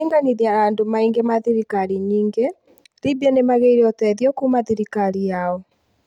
kũringanithia na andũ maingi ma thirikari nyingĩ, Libya nĩmageire ũteithio kuuma thirikarini yao.